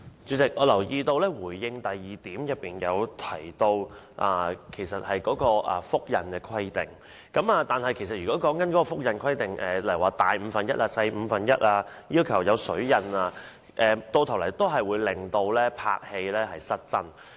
主席，我留意到在主體答覆第二部分提到有關複製香港流通紙幣的規定，但對於這些規定，例如要求尺寸要比實物大五分之一、小五分之一或要有"水印"等，其實最終會令電影拍攝失真。